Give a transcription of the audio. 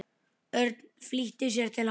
Örn flýtti sér til hans.